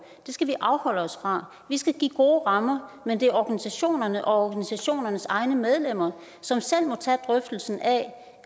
det skal vi afholde os fra vi skal give gode rammer men det er organisationerne og organisationernes egne medlemmer som selv må tage drøftelsen af